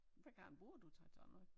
Hvad garn bruger du til sådan noget